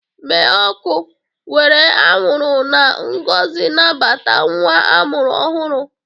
Mee ọkụ! Were anwụrụ na ngọzi nabata nwa amụrụ ọhụrụ.